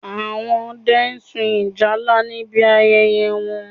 Àwọn Ọdẹ sun ìjálá níbi ayẹyẹ wọn